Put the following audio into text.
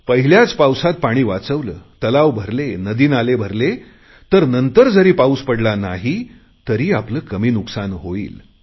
पहिल्याच पावसात पाणी वाचवले तलाव भरले नदी नाले भरले तर नंतर जरी पाऊस पडला नाही तर आपले कमी नुकसान होईल